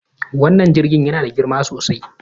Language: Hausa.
Wannan jirgin yana da girma sosai